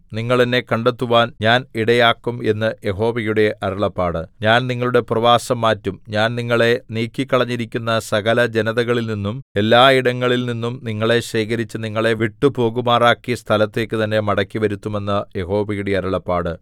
നിങ്ങൾ എന്നെ കണ്ടെത്തുവാൻ ഞാൻ ഇടയാക്കും എന്ന് യഹോവയുടെ അരുളപ്പാട് ഞാൻ നിങ്ങളുടെ പ്രവാസം മാറ്റും ഞാൻ നിങ്ങളെ നീക്കിക്കളഞ്ഞിരിക്കുന്ന സകല ജനതകളിൽനിന്നും എല്ലായിടങ്ങളിൽ നിന്നും നിങ്ങളെ ശേഖരിച്ച് നിങ്ങളെ വിട്ടുപോകുമാറാക്കിയ സ്ഥലത്തേക്ക് തന്നെ മടക്കിവരുത്തും എന്ന് യഹോവയുടെ അരുളപ്പാട്